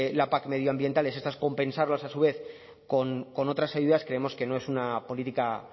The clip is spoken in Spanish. la pac medioambientales estas compensarlas a su vez con otras ayudas creemos que no es una política